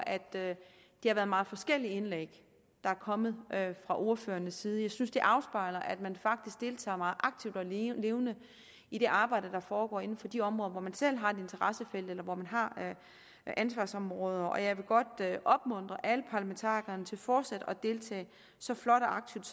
at det har været meget forskellige indlæg der er kommet fra ordførernes side jeg synes det afspejler at man faktisk deltager meget aktivt og levende i det arbejde der foregår inden for de områder hvor man selv har et interessefelt eller hvor man har ansvarsområder og jeg vil godt opmuntre alle parlamentarikerne til fortsat at deltage så flot og aktivt